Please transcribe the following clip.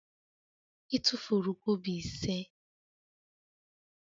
I tufuru kobo ise?